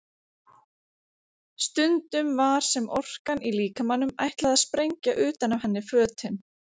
Stundum var sem orkan í líkamanum ætlaði að sprengja utan af henni fötin.